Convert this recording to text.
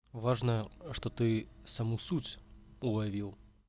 важно что ты саму суть уловил